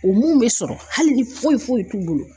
O mun bɛ sɔrɔ hali ni foyi foyi t'u bolo.